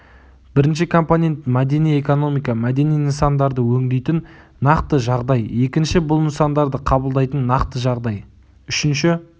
бірінші компонент мәдени экономика мәдени нысандарды өңдейтін нақты жағдай екінші бұл нысандарды қабылдайтын нақты жағдай үшінші